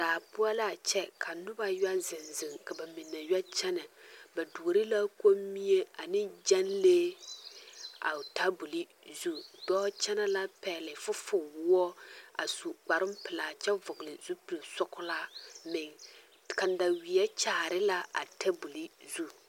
Daa poɔ la a kyɛ ka noba yɛ zeŋ zeŋ ka ba mine yɔ kyɛnɛ ba duore la Kommie ane gyɛnlee a o taboli zu dɔɔ kyɛnɛ la a pɛgle fofowoɔ a su kparoŋpelaa kyɛ vɔgle zupilsɔglaa meŋ kandaweɛ kyaare la a taboli zu.